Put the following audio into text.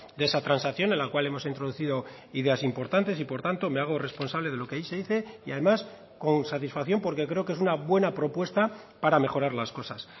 de esa transacción en la cual hemos introducido ideas importantes y por tanto me hago responsable de lo que ahí se dice y además con satisfacción porque creo que es una buena propuesta para mejorar las cosas